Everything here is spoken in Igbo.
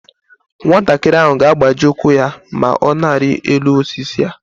Nwatakịrị ahụ ga-agbaji ụkwụ ya ma ọ na-arị elu osisi a